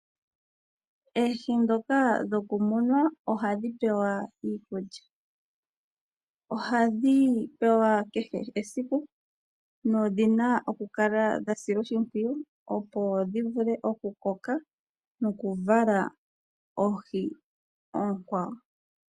Oohi dhoka dhoku munwa ohadhi pewa iikulya, ohadhi pewa kehe esiku nodhi na oku kala dha silwa oshipwiyu opo dhi vule oku koka noku vala oohi ookwawo.